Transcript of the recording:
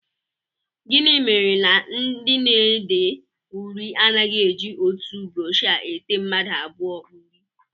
Gịnị mere na ndị na-ede uri anaghị eji otu brọọshị ete mmadụ abụọ uri?